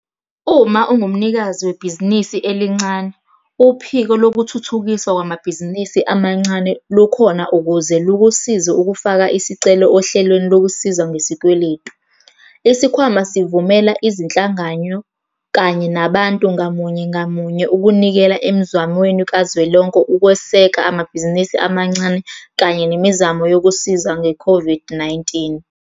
Uma ungumnikazi webhizinisi elincane, Uphiko Lokuthuthukiswa Kwamabhizinisi Amancane lukhona ukuze lukusize ukufaka isicelo ohlelweni lokusizwa ngesikweletu. Isikhwama sivumela izinhlangano kanye nabantu ngamunye ngamunye ukunikela emzamweni kazwelonke ukweseka amabhizinisi amancane kanye nemizamo yokusiza nge-COVID-19.